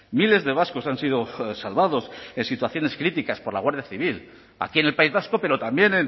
miles de vascos han sido salvados en situaciones críticas por la guardia civil aquí en el país vasco pero también